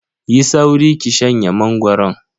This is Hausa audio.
Yi sauri ki shanye mangoron.